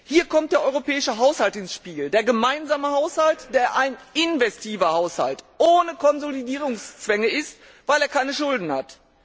Hier kommt der europäische Haushalt ins Spiel, der gemeinsame Haushalt, der ein investiver Haushalt ohne Konsolidierungszwänge ist, weil er keine Schulden hat.